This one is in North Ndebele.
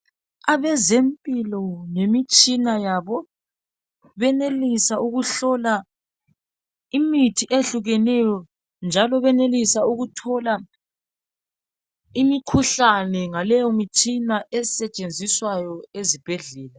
Abezempilo ngemitshina yabo benelisa ukuhlola imithi eyehlukeneyo njalo benelisa ukuthola imikhuhlane ngaleyo mitshina esetshenziswayo ezibhedlela.